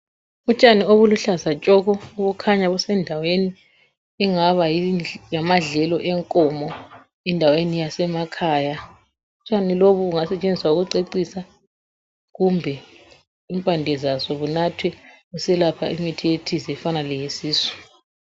Utshani obuluhlaza tshoko, obukhanya busendaweni engaba ngamadlelo enkomo endaweni yasemakhaya, utshani lobu bungasetshenziswa ukucecisa kumbe impande zabo bunathwe kuselapha imithi ethize kufana leyesisu.